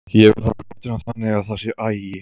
Ég vil hafa hlutina þannig að það sé agi.